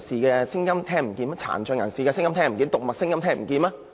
難道特首聽不到智障人士、殘疾人士和動物的聲音嗎？